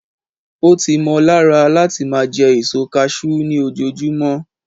o ti mo lára lati ma je èso cashew ni ojojumọ